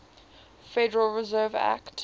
federal reserve act